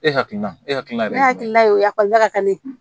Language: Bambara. E hakilina e hakilina ye e hakilila ye o ye ekɔli la ka ne